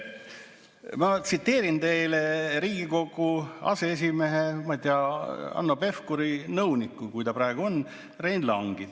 Ma tsiteerin teile Riigikogu aseesimehe Hanno Pevkuri nõunikku Rein Langi.